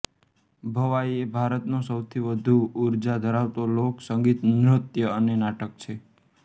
ભવાઈએ ભારતનો સૌથી વધુ ઉર્જા ધરાવતો લોક સંગીત નૃત્ય અને નાટક છે